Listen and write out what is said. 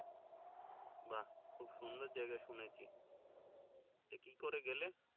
বাহ্ খুব সুন্দর জায়গা শুনেছি তো কি করে গেলে